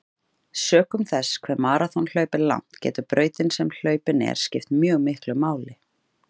Sökum þess hve maraþonhlaup er langt getur brautin sem hlaupin er skipt mjög miklu máli.